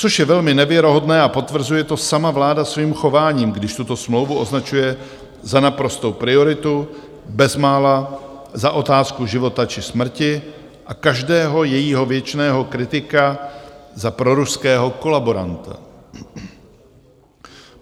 Což je velmi nevěrohodné a potvrzuje to sama vláda svým chováním, když tuto smlouvu označuje za naprostou prioritu, bezmála za otázku života či smrti, a každého jejího věčného kritika za proruského kolaboranta.